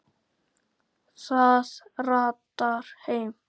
Það ratar heim.